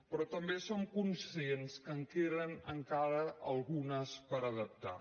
però també som conscients que en queden encara algunes per adaptar